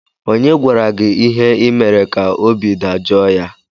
Onye gwara gị ihe ị mere ka obi dajọọ ya?